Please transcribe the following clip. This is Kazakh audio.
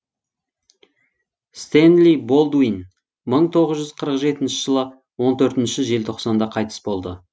стэнли болдуин мың тоғыз жүз қырық жетінші жылы он төртінші желтоқсанда қайтыс болды